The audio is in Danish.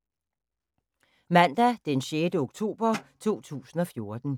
Mandag d. 6. oktober 2014